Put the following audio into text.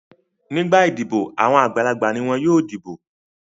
Nígbà idibo àwọn àgbàlagbà ni wọn yóò dìbò.